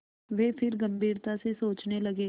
वे फिर गम्भीरता से सोचने लगे